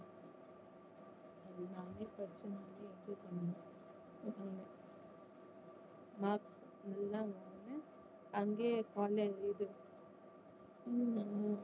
நானே படிச்சு நானே marks நல்லா வாங்கனேன் அங்கேயே college இது